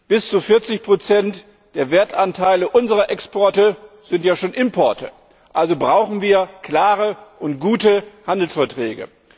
Bis zu 40 der Wertanteile unserer Exporte sind ja schon Importe. Also brauchen wir klare und gute Handelsverträge.